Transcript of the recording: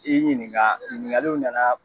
I ɲininka, ɲininkaliw nana